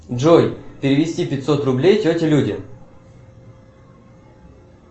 джой перевести пятьсот рублей тете люде